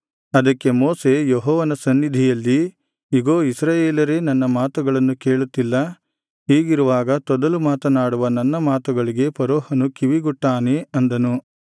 ಅದಕ್ಕೆ ಮೋಶೆ ಯೆಹೋವನ ಸನ್ನಿಧಿಯಲ್ಲಿ ಇಗೋ ಇಸ್ರಾಯೇಲರೇ ನನ್ನ ಮಾತುಗಳನ್ನು ಕೇಳುತ್ತಿಲ್ಲ ಹೀಗಿರುವಾಗ ತೊದಲು ಮಾತನಾಡುವ ನನ್ನ ಮಾತುಗಳಿಗೆ ಫರೋಹನು ಕಿವಿಗೊಟ್ಟಾನೇ ಅಂದನು